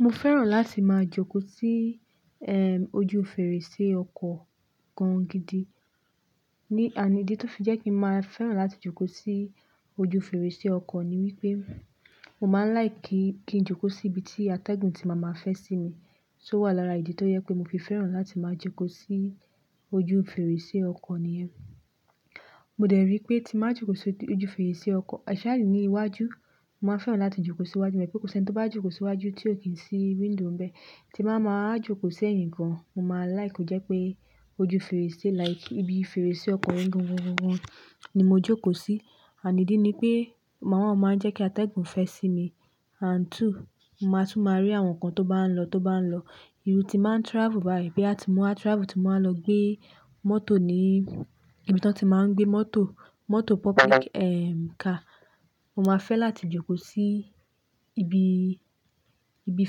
Mo fẹ́ràn láti máa jókòó sí, ojú fèrèsé ọkọ̀ gan gidi. Ni, and idi tó fi jẹ́ pé màá fẹ́ràn láti jókòó sí ojú fèrèsé ọkọ̀ ni wípé, mo máa ń like kí n jókòó sí ibi tí atẹ́gùn tí màá máa fẹ́ sí mi, so owà lára ìdí tó jẹ́ pé mo fi fẹ́ràn láti máa jókòó sí ojú fèrèsé ọkọ̀ nìyẹn. Mo dẹ̀ rí pé tí màá jókòó sí ojú fèrèsé ọkọ̀, especially ní iwájú, màá fẹ́ràn láti jókòó sí iwájú. Èma pẹ̀ kosi ẹni tó bá jókòó sí iwájú tí ò kí ń sí window ńbẹ. Tí màá máa jókòó sí ẹ̀yìn gan, mo máa like kó jẹ́ pé ojú fèrèsé like ibi fèrèsé ọkọ̀ yen gangan gangan ni mo jókòó sí. And idi ni pé, number one: o máa ń jẹ́ kí atẹ́gùn fẹ́ sí mi and two, màá tún máa rí àwọn nǹkan tó bá ń lọ tó bá ń lọ. Irú tí màá ń travel báyìí bí a ti ń mo wá travel, tí màá ń lọ gbé mọ́tò ní ibi tí wọ́n ti máa ń gbé mọ́tò, mọ́tò public car, mo máa fẹ́ láti jókòó sí ibi, ibi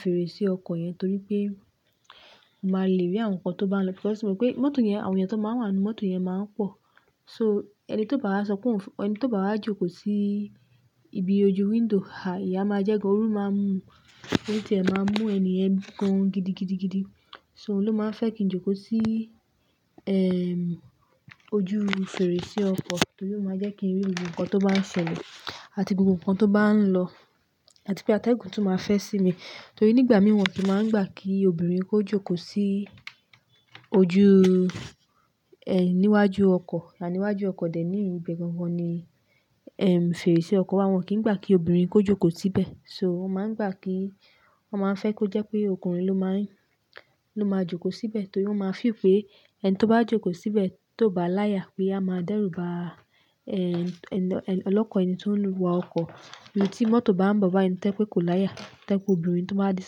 fèrèsé ọkọ̀ yẹn torí pé, màá le rí àwọn nǹkan tó bá ń lọ. Because mọ̀ pé mọ́tò yẹn, àwọn èèyàn tó máa wà nínú mọ́tò yẹn máa ń pọ̀. So, ẹni tó bá wá sọpe, ẹni tó bá wá jókòó sí ibi ojú window, ah iya máa jẹ́ gan oru máa mú, orí ti ẹ̀ máa mú ènìyàn gan gidi gidi gidi. So òun ló máa ń fẹ́ kí n jókòó sí, ojú fèrèsé ọkọ̀ torí ó máa jẹ́ kí n rí gbogbo nǹkan tó bá ń ṣẹlẹ̀ àti gbogbo nǹkan tó bá ń lọ àti pé atẹ́gùn tún máa fẹ́ sí mi. Torí nígbà mìí wọ́n ki máa ń gbà kí obìnrin kó jókòó sí ojú, níwájú ọkọ̀. Àníwájú ọkọ̀ dè ní ibe gangan ni, fèrèsé ọkọ̀. Wọn kì í gbà kí obìnrin kó jókòó síbẹ̀. So wọ́n máa ń gbà kí, wọ́n máa ń fẹ́ kó jẹ́ pé ọkùnrin ló máa ń, ló máa jókòó síbẹ̀ torí wọ́n máa feel pé ẹni tó bá jókòó síbẹ̀ tó bá láyà pé a máa dẹ́rùba, ẹni tó ń wa ọkọ̀. Bi tí mọ́tò bá ń bo báyi ẹni tojepe kó láyà, tojepe obìnrin tó bá di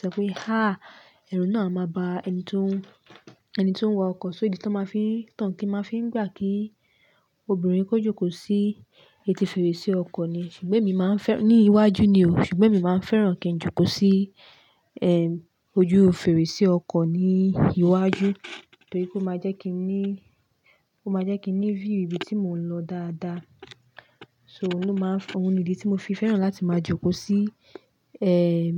sopé há, ẹ̀rù náà a máa ba ẹni tó ń, ẹni tó ń wa ọkọ̀. So ìdí tó máa fi tán kí n máa fi ń gbà kí obìnrin kó jókòó sí etí fèrèsé ọkọ̀ ni. Ṣùgbọ́n èmi máa ń fẹ́, ní iwájú ni o, ṣùgbọ́n èmi máa ń fẹ́ràn kí n jókòó sí, ojú fèrèsé ọkọ̀ ní iwájú torí kó máa jẹ́ kí n ní, kó máa jẹ́ kí n ní view ibi tí mò ń lọ dáadáa. So òun ló máa ń fẹ́, òun ni ìdí tí mo fi fẹ́ràn láti máa jókòó sí, ẹm.